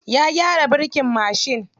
Ya gyara birkin mashin.